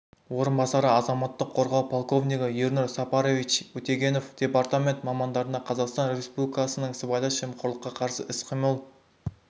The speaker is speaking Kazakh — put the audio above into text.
орынбасары азаматтық қорғау полковнигі ернур сапарович утегенов департамент мамандарына қазақстан республикасының сыбайлас жемқорлыққа қарсы іс-қимыл